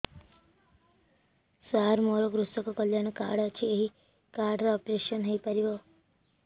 ସାର ମୋର କୃଷକ କଲ୍ୟାଣ କାର୍ଡ ଅଛି ଏହି କାର୍ଡ ରେ ଅପେରସନ ହେଇପାରିବ